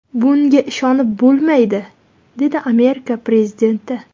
Bunga ishonib bo‘lmaydi”, dedi Amerika prezidenti.